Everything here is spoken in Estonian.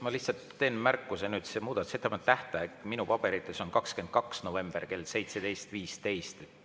Ma lihtsalt teen märkuse, et muudatusettepanekute tähtaeg minu paberites on 22. november kell 17.15.